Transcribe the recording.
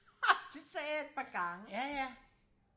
det sagde jeg et par gange